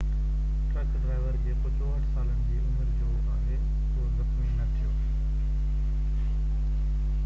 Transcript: truck driver جيڪو 64 سالن جي عمر جو آهي اهو زخمي نہ ٿيو